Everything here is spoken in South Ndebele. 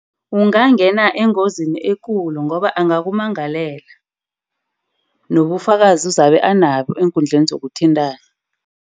Ungangena engozini ekulu, ngoba angaka kummangalela nobufakazi uzabe anabo eenkundleni zokuthintana.